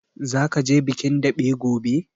Zaka je bikin daɓe gobe?